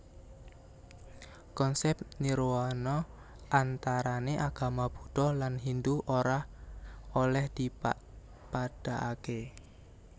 Konsèp nirwana antarané agama Buddha lan Hindu ora olèh dipadhakaké